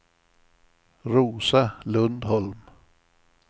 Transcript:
Rosa Lundholm